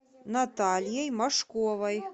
натальей машковой